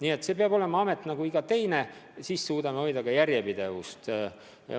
Aga see peab olema amet nagu iga teine, siis suudame hoida ka järjepidevust.